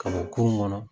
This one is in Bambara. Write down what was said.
Ka bɔ kurun kɔnɔ